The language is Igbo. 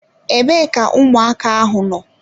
Ebee ka ụmụaka ahụ nọ?